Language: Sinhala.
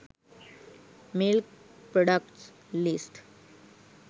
milk products list